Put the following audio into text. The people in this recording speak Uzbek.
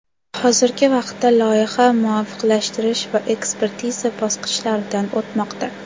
Hozirgi vaqtda loyiha muvofiqlashtirish va ekspertiza bosqichlaridan o‘tmoqda.